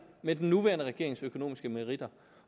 med den nuværende regerings økonomiske meritter